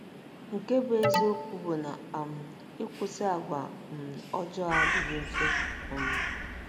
Nke bụ́ eziokwu bụ na um ịkwụsị àgwà um ọjọọ adịghị mfe um.